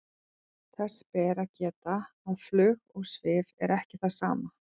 þess ber að geta að flug og svif er ekki það sama